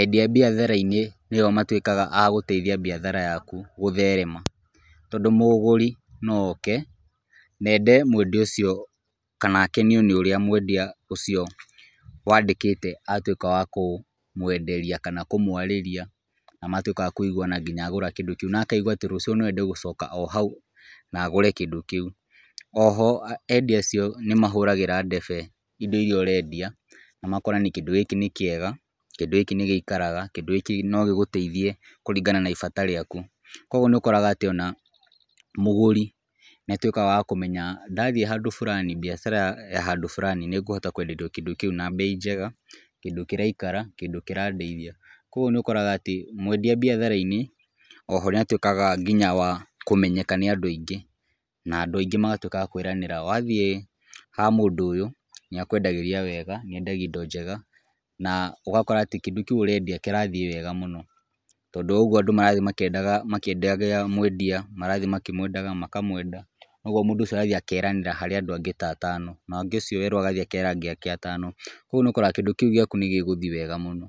Endia biathara-inĩ nĩo matuĩkaga agũteithia biathara yaku gũtherema, tondũ mũgũrĩ no oke, na ende mwendia ũcio kana akenio nĩ ũrĩa mwendia ũcio wandĩkĩte atũĩka wa kũmũenderia kana kũmũarĩria, na matuĩka akũiguana ngina agũra kĩndũ kĩu na akaigua atĩ rũciũ no ende gũcoka o hau na agũre kĩndũ kĩu. Oho, endia acio nĩ mahũragĩra debe indo iria ũrendia na makora nĩ kĩndũ gĩkĩ nĩ kĩega, kĩndũ gĩkĩ nĩ gĩikaraga, kĩndũ gĩkĩ no gĩgũteithie kũringana na ibata rĩaku. Kũguo nĩ ũkoraga atĩ ona mũgũri nĩ atuĩkaga wa kũmenya ndathiĩ handũ fulani biacara ya handũ fulani nĩ ngũhota kũenderio kĩndũ kĩu na mbei njega, kĩndũ kĩraikara, kĩndũ kĩrandeithia. Kũguo nĩ ũkoraga atĩ, mwendia biathara-inĩ, oho nĩ atuĩkaga nginya wa kũmenyeka nĩ andũ aingĩ na andũ aingĩ magatuĩka a kũĩranĩra wathiĩ ha mũndũ ũyũ, nĩ akuendagĩria wega, nĩ endagia indo njega, na ũgakora atĩ kĩndũ kĩu ũrendia kĩrathiĩ wega mũno tondũ wa ũgũo andũ marathiĩ mwendia marathiĩ makĩmwendaga, makamwenda, kũguo mũndũ ũcio arathiĩ akeranĩra harĩ andũ angĩ ta atano nake ũcio werwo agathiĩ akera andũ angĩ atano. Kũguo nĩ ũkoraga kĩndũ kĩu gĩaku nĩ gĩgũthi wega mũno,